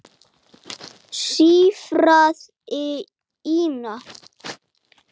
Þetta fannst henni mjög erfitt.